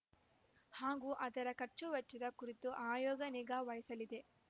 ಹಾಗೂ ಅದರ ಖರ್ಚುವೆಚ್ಚದ ಕುರಿತು ಆಯೋಗ ನಿಗಾವಹಿಸಲಿದೆ